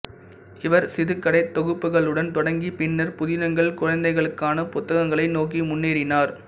இவர் சிறுகதைத் தொகுப்புகளுடன் தொடங்கி பின்னர் புதினங்கள் குழந்தைகளுக்கான புத்தகங்களை நோக்கி முன்னேறினார்